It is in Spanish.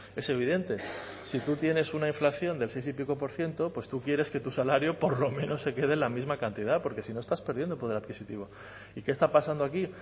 es evidente si tú tienes una inflación del seis y pico por ciento pues tú quieres que tu salario por lo menos se quede en la misma cantidad porque si no estás perdiendo poder adquisitivo y qué está pasando aquí